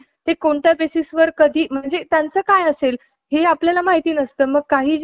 पाटी स्वच्छ धुऊन ओल्या मातीचा किंवा खडूचा पातळ लेप~ लेप द्यायचा. आणि तो वाळल्यावर,